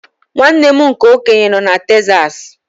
Nwanne m nke okenye nọ na Texas.